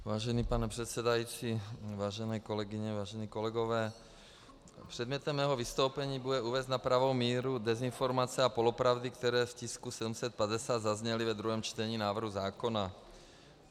Vážený pane předsedající, vážené kolegyně, vážení kolegové, předmětem mého vystoupení bude uvést na pravou míru dezinformace a polopravdy, které k tisku 750 zazněly ve druhém čtení návrhu zákona.